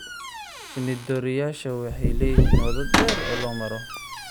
Shinni-dooriyeyaasha waxay leeyihiin waddo dheer oo loo maro.